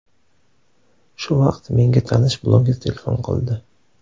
Shu vaqt menga tanish bloger telefon qildi.